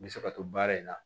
N bɛ se ka to baara in na